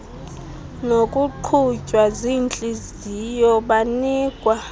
ngokuqhutywa ziintliziyo banikwa